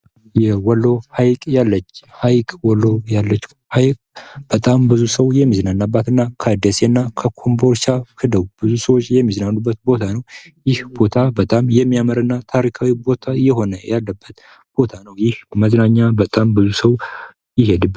የወሎ ሀይቅ ያለች ሀይቅ ወሎ ያለችው ሀይቅ በጣም ብዙ ሰው የሚዝናናባትና ከደሴና ከኮቦልቻ ሂደው ብዙ ሰዎች የሚዝናኑበት ቦታ ነው። ይህ ቦታ በጣም የሚያምርና ታሪካዊ ቦታ የሆነ ያለበት ቦታ ነው። ይህ ቦታ በጣም ብዙ ሰው ይሄድበታል።